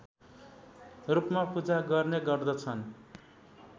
रूपमा पूजा गर्ने गर्दछन्